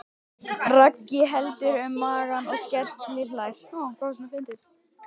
Raggi heldur um magann og skelli hlær.